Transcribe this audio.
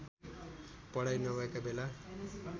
पढाइ नभएका बेला